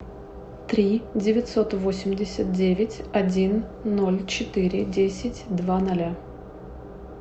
три девятьсот восемьдесят девять один ноль четыре десять два ноля